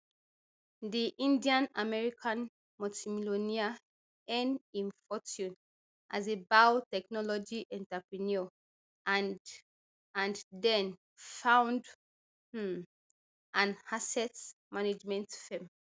di indianamerican multimillionaire earn im fortune as a biotechnology entrepreneur and and den found um an asset management firm